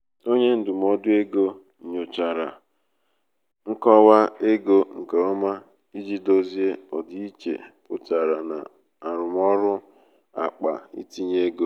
onye ndụmọdụ um ego nyochachara nkọwa ego nke ọma iji dozie ọdịiche pụtara na arụmọrụ um akpa um itinye ego.